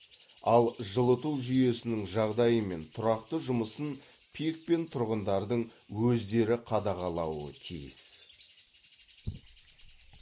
ал жылыту жүйесінің жағдайы мен тұрақты жұмысын пик пен тұрғындардың өздері қадағалауы тиіс